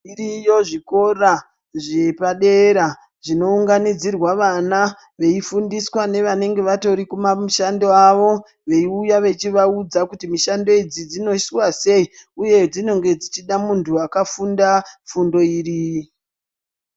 Zviriyo zvikora zvepadera zvinoungandidzirwa vana. Veifundiswa nevanenge vatori kumamushando avo. Veiuya vechivaudza kuti mushando idzi dzinoiswa sei uye dzinenge dzichida muntu akafunda fundo iri.